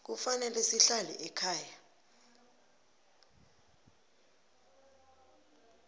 kufanele sihlale ekhaya